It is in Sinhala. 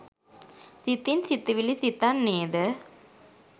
සිතින් සිතිවිලි සිතන්නේද